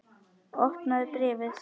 Opnaðu bréfið!